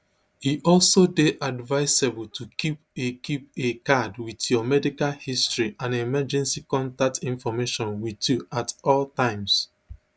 e also dey advisable to keep a keep a card wit your medical history and emergency contact information with you at all times